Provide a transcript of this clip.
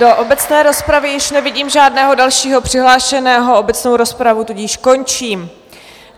Do obecné rozpravy již nevidím žádného dalšího přihlášeného obecnou rozpravu, tudíž končím.